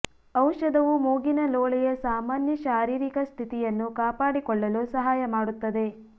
ಔಷಧವು ಮೂಗಿನ ಲೋಳೆಯ ಸಾಮಾನ್ಯ ಶಾರೀರಿಕ ಸ್ಥಿತಿಯನ್ನು ಕಾಪಾಡಿಕೊಳ್ಳಲು ಸಹಾಯ ಮಾಡುತ್ತದೆ